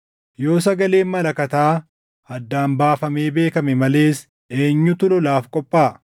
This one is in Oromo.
Yoo sagaleen malakataa addaan baafamee beekame malees eenyutu lolaaf qophaaʼa?